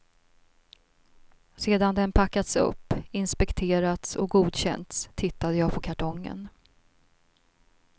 Sedan den packats upp, inspekterats och godkänts tittade jag på kartongen.